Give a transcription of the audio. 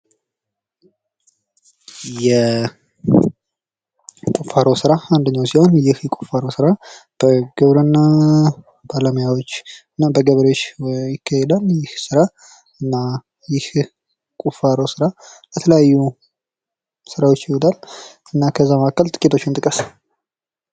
የቁፋሮ ስራ የቁፋሮ ስራ አንደኛው ሲሆን ይህ የቁፋሮ ስራ በግብርና ባለሙያዎች በገበሬዎች ነው የሚካሄደው ይህ ስራ እና ይህ ቁፋሮ ስራ የተለያዩ ስራዎችን ይይዛል። እና ከዚያ መካክለ ጥቂቶቹን ጥቀስ?